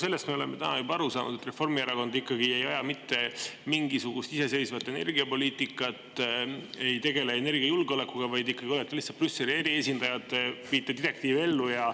Sellest me oleme täna juba aru saanud, et Reformierakond ikkagi ei aja mitte mingisugust iseseisvat energiapoliitikat, ei tegele energiajulgeolekuga, vaid ikkagi olete lihtsalt Brüsseli eriesindajad, viite direktiivi ellu.